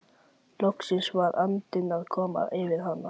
Loksins var andinn að koma yfir hann!